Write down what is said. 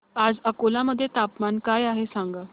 आज अकोला मध्ये तापमान काय आहे सांगा